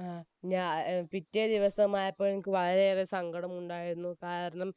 ങ്ഹാ, ഞാ~പിറ്റേ ദിവസമായപ്പോയേക്കും എനിക്ക് വളരെയേറെ സങ്കടമുണ്ടായിരുന്നു, കാരണം